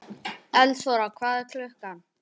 Eldþóra, hvað er klukkan?